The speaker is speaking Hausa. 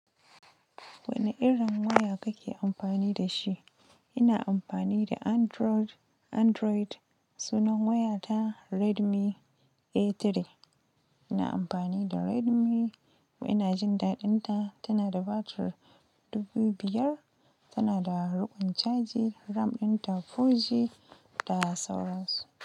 Wane irin waya kake amfani da shi? Ina amfani da Android, Android sunan waya ta Redmi A3. Ina amfani da Redmi, ina jin daɗin ta, tana da batir 5000, tana da riƙon caji, RAM ɗin ta 4G da sauran su.